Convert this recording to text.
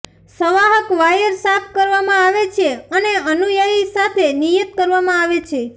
સંવાહક wire સાફ કરવામાં આવે છે અને અનુયાયી સાથે નિયત કરવામાં આવે છે